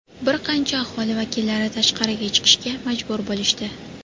Bir qancha aholi vakillari tashqariga chiqishga majbur bo‘lishdi.